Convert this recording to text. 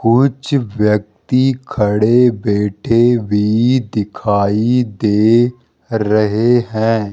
कुछ व्यक्ति खड़े बैठे भी दिखाई दे रहे हैं।